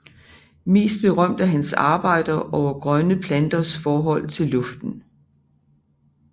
Mest berømte er hans arbejder over grønne planters forhold til luften